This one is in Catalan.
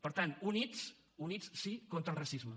per tant units units sí contra el racisme